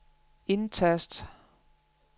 indtast